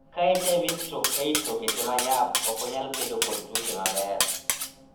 Ka HIV/AIDS okete ma nyap, ok onyal kedo kod ttuoche maber.